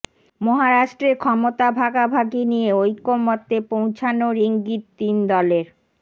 মহারাষ্ট্রে ক্ষমতা ভাগাভাগি নিয়ে ঐকমত্যে পৌঁছোনোর ইঙ্গিত তিন দলের